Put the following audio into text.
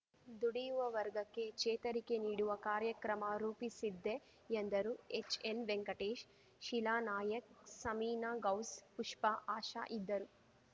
ದುಡಿಯುವ ವರ್ಗಕ್ಕೆ ಚೇತರಿಕೆ ನೀಡುವ ಕಾರ್ಯಕ್ರಮ ರೂಪಿಸಿದ್ದೆ ಎಂದರು ಎಚ್‌ಎನ್‌ ವೆಂಕಟೇಶ್‌ ಶೀಲಾನಾಯಕ್‌ ಸಮೀನ ಗೌಸ್‌ ಪುಷ್ಪ ಆಶಾ ಇದ್ದರು